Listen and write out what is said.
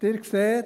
Sie sehen: